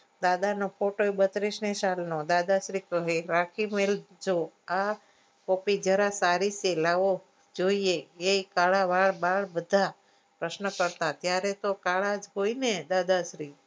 દાદાનો photo એ બત્રીસ સાલનો દાદાશ્રી કહે રાખી મેલજો આ copy જરાક સારી છે લાવો જોઈએ એ કળા વાળ બાળ બધા પ્રહ્ન કરતા ત્યારે તો કાળા જ હોય ને દાદા શ્રી